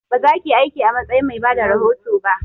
Ba zakiyi aiki a matsayin mai bada rahoto ba!